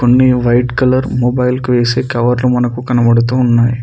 White colour mobile కి వేసే కవర్లు మనకు కనబడుతూ ఉన్నాయి.